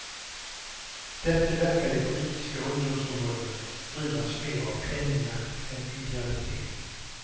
Därtill verkar de politiska ungdomsförbunden drivas mer av penningjakt än idealitet.